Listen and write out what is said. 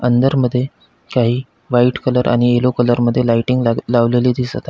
अंदर मध्ये काही व्हाइट कलर आणि यल्लो मध्ये लायटिंग लाग लावलेली दिसत आ--